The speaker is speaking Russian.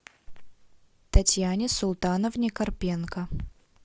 татьяне султановне карпенко